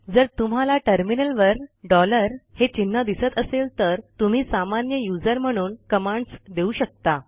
जर तुम्हाला टर्मिनलवर डॉलर हे चिन्ह दिसत असेल तर तुम्ही सामान्य यूझर म्हणून कमांडस देऊ शकता